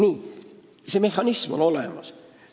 Ja see mehhanism on olemas.